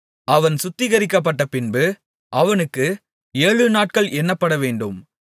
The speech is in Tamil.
அவன் சுத்திகரிக்கப்பட்டபின்பு அவனுக்கு ஏழுநாட்கள் எண்ணப்படவேண்டும்